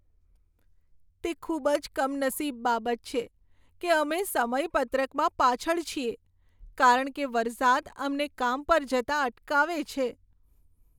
તે ખૂબ જ કમનસીબ બાબત છે કે અમે સમયપત્રકમાં પાછળ છીએ કારણ કે વરસાદ અમને કામ પર જતાં અટકાવે છે.